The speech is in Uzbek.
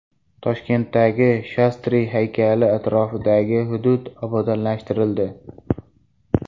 Toshkentdagi Shastri haykali atrofidagi hudud obodonlashtirildi.